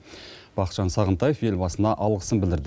бақытжан сағынтаев елбасына алғысын білдірді